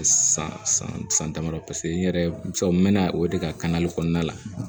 San san san damadɔ n yɛrɛ cɛ n mɛna o de ka kɔnɔna la